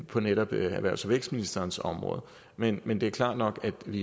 på netop erhvervs og vækstministerens område men men det er klart nok at vi